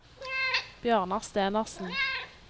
Bjørnar Stenersen